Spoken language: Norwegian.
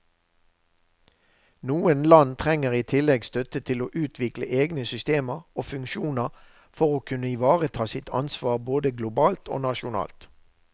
Noen land trenger i tillegg støtte til å utvikle egne systemer og funksjoner for å kunne ivareta sitt ansvar både globalt og nasjonalt.